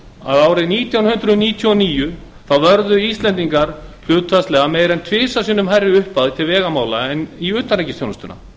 að árið nítján hundruð níutíu og níu vörðu íslendingar hlutfallslega meira en tvisvar sinnum hærri upphæð til vegamála en í utanríkisþjónustuna